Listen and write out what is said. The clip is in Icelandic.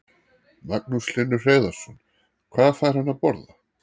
Magnús Hlynur Hreiðarsson: Hvað fær hann að borða?